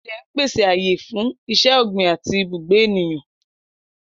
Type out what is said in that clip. Ilẹ̀ ń pèsè ààyè fún iṣẹ́ ọ̀gbìn àti ibùgbé ènìyàn.